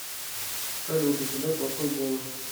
салют у тебя плохой голос